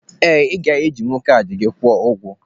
Ee, ị ga-ejinwu kaadị kwụọ ụgwọ.